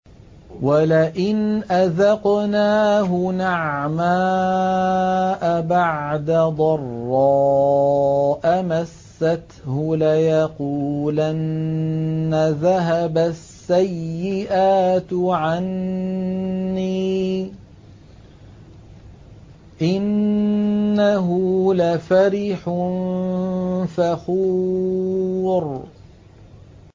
وَلَئِنْ أَذَقْنَاهُ نَعْمَاءَ بَعْدَ ضَرَّاءَ مَسَّتْهُ لَيَقُولَنَّ ذَهَبَ السَّيِّئَاتُ عَنِّي ۚ إِنَّهُ لَفَرِحٌ فَخُورٌ